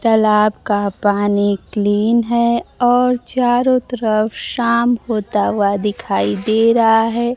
तालाब का पानी क्लीन है और चारों तरफ शाम होता हुआ दिखाई दे रहा है।